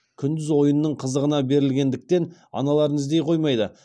күндіз ойынның қызығына берілетіндіктен аналарын іздей қоймайды